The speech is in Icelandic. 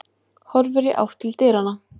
Horfir í átt til dyranna.